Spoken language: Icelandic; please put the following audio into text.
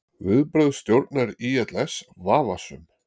Vinnubrögð stjórnar ÍLS vafasöm